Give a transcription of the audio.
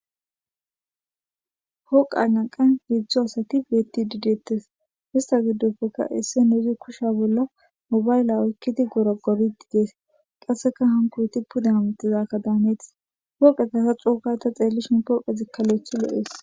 hooqa nanqan hiedzdzo asati beti didettes hista giddopfekka isse neuzi kushsha bolla mobayla oykkidi gora goriti dees qasseka hankoyti pude hamixizakka daanetis hooqe kasa cuokata xeellishin pooqezikkalloethi lo7ees